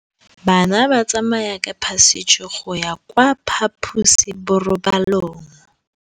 Bana ba tsamaya ka phašitshe go ya kwa phaposiborobalong.